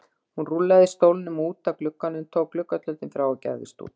Hann rúllaði stólnum út að glugganum, tók gluggatjöldin frá og gægðist út.